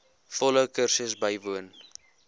volle kursus bywoon